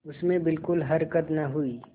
उसमें बिलकुल हरकत न हुई